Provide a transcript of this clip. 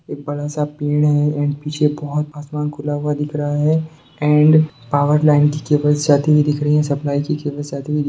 एक बड़ा सा पेड़ है एण्ड पीछे बहुत आसमान खुला हुआ दिख रहा है एण्ड पावर लाइन की केबल्स जाती हुई दिख रहीं हैं सप्लाई की केबल्स जाती हुई दिख --